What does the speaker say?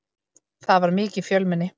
Það var mikið fjölmenni.